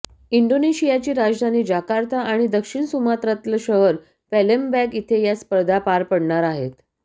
इंडोनेशियाची राजधानी जाकार्ता आणि दक्षिण सुमात्रातलं शहर पॅलेमबँग इथे या स्पर्धा पार पडणार आहेत